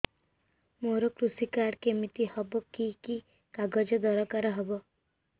ମୋର କୃଷି କାର୍ଡ କିମିତି ହବ କି କି କାଗଜ ଦରକାର ହବ